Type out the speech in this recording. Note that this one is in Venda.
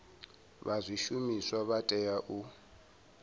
vha zwishumiswa vha tea u